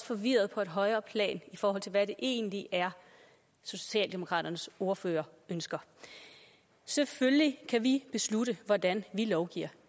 forvirret på et højere plan i forhold til hvad det egentlig er socialdemokraternes ordfører ønsker selvfølgelig kan vi beslutte hvordan vi lovgiver